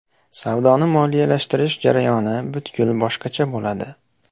Savdoni moliyalashtirish jarayoni butkul boshqacha bo‘ladi.